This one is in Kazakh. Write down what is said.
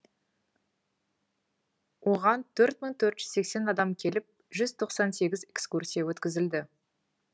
оған төрт мың төрт жүз сексен адам келіп жүз тоқсан сегізінші экскурсия өткізілді